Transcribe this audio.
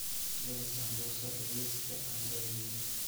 geli sambusa liiska cuntadayda